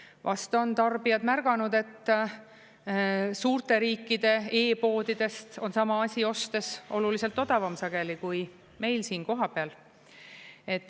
Vast on tarbijad märganud, et suurte riikide e-poodidest on sama asi ostes oluliselt odavam sageli kui meil siin kohapeal.